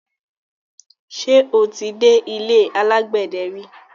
Ṣé o ti dé ilé alágbẹ̀dẹ ri?